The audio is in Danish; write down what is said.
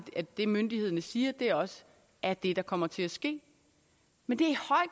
at det myndighederne siger også er det der kommer til at ske men det